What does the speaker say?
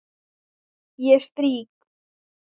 Ég strýk.